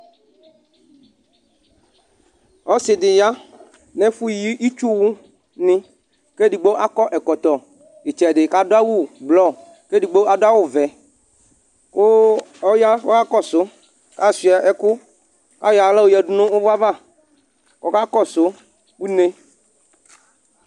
ɔse di ya no ɛfo yi itsuwo ni ko edigbo akɔ ɛkɔtɔ itsɛdi k'ado awu ublɔ k'edigbo ado awu vɛ ko ɔya k'ɔka kɔso k'asua ɛko k'ayɔ ala oyado no uwɔ ava ko ɔka kɔso une